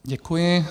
Děkuji.